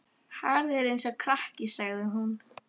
Hagar þér eins og krakki, sagði hún.